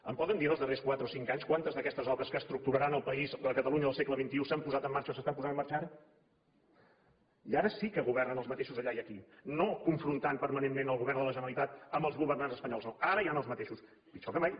em poden dir en els darrers quatre o cinc anys quantes d’aquestes obres que estructuraran el país la catalunya del segle ara i ara sí que governen els mateixos allà i aquí no confrontant permanentment el govern de la generalitat amb els governants espanyols no ara hi ha els mateixos pitjor que mai